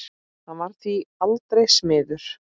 Hann varð því aldrei smiður.